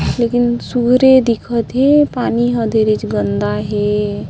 लेकिन सूर्य दिखत हे पानी ह धीरेज गंदा हे।